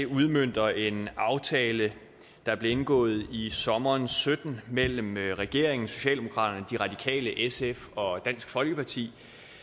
udmønter en aftale der blev indgået i sommeren og sytten mellem regeringen socialdemokratiet de radikale sf og dansk folkeparti